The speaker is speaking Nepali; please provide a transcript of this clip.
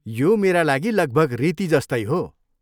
यो मेरा लागि लगभग रीति जस्तै हो।